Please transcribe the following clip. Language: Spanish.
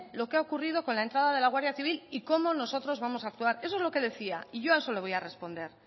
lo que ha ocurrido con la entrada de la guardia civil y cómo nosotros vamos a actuar eso es lo que decía y yo a eso le voy a responder